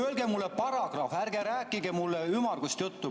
Öelge mulle paragrahv, ärge rääkige mulle ümmargust juttu.